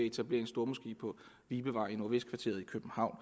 etablere en stormoské på vibevej i nordvestkvarteret i københavn